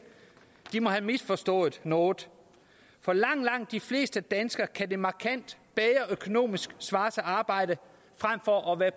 de må have misforstået noget for langt langt de fleste danskere kan det markant økonomisk at arbejde frem for at være